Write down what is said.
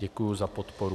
Děkuji za podporu.